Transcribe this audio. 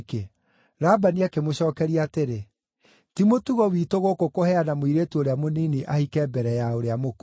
Labani akĩmũcookeria atĩrĩ, “Ti mũtugo witũ gũkũ kũheana mũirĩtu ũrĩa mũnini ahike mbere ya ũrĩa mũkũrũ: